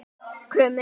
Krummi